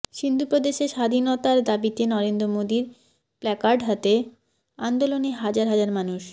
সিন্ধু প্রদেশের স্বাধীনতার দাবিতে নরেন্দ্র মোদীর প্ল্যাকার্ড হাতে আন্দোলনে হাজার হাজার মানুষ